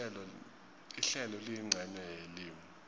ihlelo liyincenye yelimi